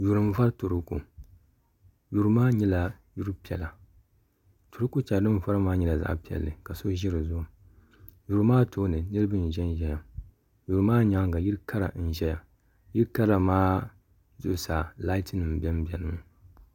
yuri n vori turooko yuri maa nyɛla yuri piɛla torooko shɛli bi ni vori maa nyɛla zaɣ piɛli ka so ʒi dizuɣu yuri maa tooni niraba n ʒɛnʒɛya yuri maa nyaanga yili kara n ʒɛya yili kara maa zuɣusaa laati nim biɛni biɛni mi